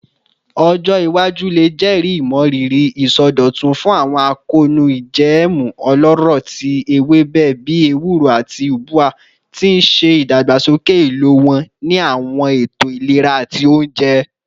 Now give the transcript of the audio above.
Ọjọ iwaju le jẹri imọriri isọdọtun fun akoonu ijẹẹmu ọlọrọ ti ewebe bii ewuro ati ubwa, ti n ṣe idagbasoke ilo wọn ni awọn eto ilera ati ounjẹ.